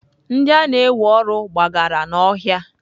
Ndị a na-ewe ọrụ gbagara n'ọhịa.